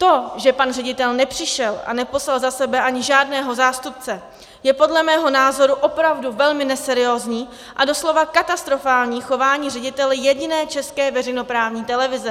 To, že pan ředitel nepřišel a neposlal za sebe ani žádného zástupce, je podle mého názoru opravdu velmi neseriózní a doslova katastrofální chování ředitele jediné české veřejnoprávní televize.